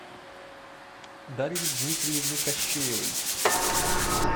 дарье дмитриевне кащеевой